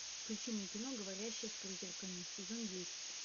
включи мне кино говорящая с призраками сезон десять